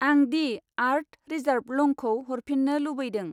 आं दि आर्थ रिजार्व लंखौ हरफिन्नो लुबैदों